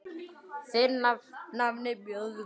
Þinn nafni, Böðvar.